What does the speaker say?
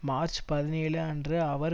March பதினேழு அன்று அவர்